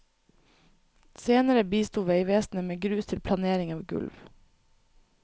Senere bisto veivesenet med grus til planering av gulv.